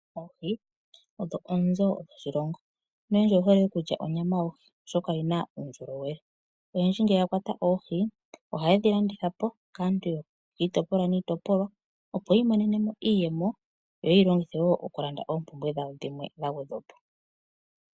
Oohi odho oonzo dhoshilongo noyendji oye hole okulya onyama yohi oshoka oyi na uundjolowele. Oyendji ngele yakwata oohi oha ye dhi landitha po kaantu kiitipolwa niitopolwa opo yi imonenemo iiyemo yo ye yi longithe okulanda oompumbwe dhawo dhimwe dha gwedhwa po.